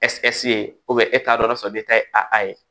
ye e t'a dɔn o y'a sɔrɔ e ta ye a ye